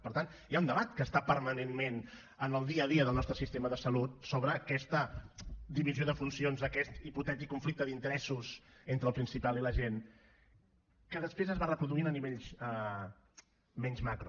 per tant hi ha un debat que està permanentment en el dia a dia del nostre sistema de salut sobre aquesta divisió de funcions aquest hipotètic conflicte d’interessos entre el principal i la gent que després es va reproduint a nivells menys macro